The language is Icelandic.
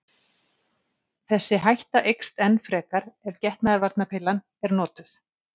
Þessi hætta eykst enn frekar ef getnaðarvarnarpillan er notuð.